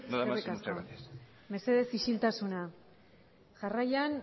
maneiro jauna eskerrik asko nada más y muchas gracias eskerrik asko medesez isiltasuna jarraian